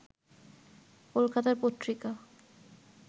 কলকাতার পত্রিকা